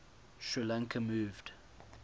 sri lanka moved